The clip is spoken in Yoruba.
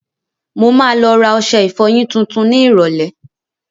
Mo ma lọ rà ọṣẹ ìfọyín tuntun ni ìrọ̀lẹ́.